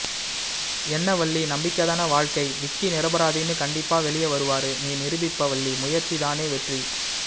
என்ன வள்ளி நம்பிக்கதான வாழ்க்கை விக்கி நிறபறாதின்னு கன்டிப்பா வெளிய வருவாரு நீ நிருபிப்ப வள்ளி முயற்ச்சிதானே வெற்றி